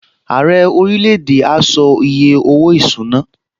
Ààrẹ orílẹ̀-èdè a sọ iye owó-ìṣúná